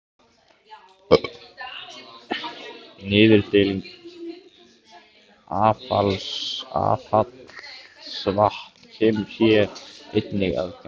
Niðurdæling affallsvatns kemur hér einnig að gagni.